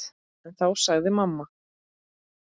En þá sagði mamma